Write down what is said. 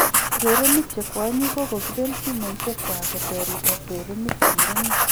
Urerenik che kwanyik kokokipen simoishek kwank koterit ak urerenik che murenik